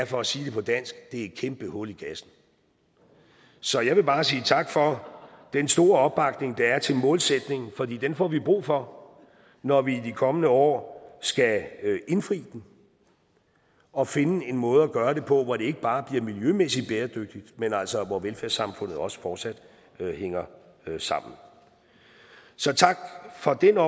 for at sige det på dansk det er et kæmpe hul i kassen så jeg vil bare sige tak for den store opbakning der er til målsætningen fordi den får vi brug for når vi i de kommende år skal indfri den og finde en måde at gøre det på hvor det ikke bare bliver miljømæssigt bæredygtigt men altså hvor velfærdssamfundet også fortsat hænger sammen så tak for den